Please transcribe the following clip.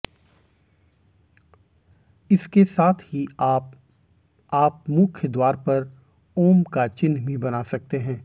इसके साथ ही आप आप मुख्य द्वार पर ऊं का चिन्ह भी बना सकते हैं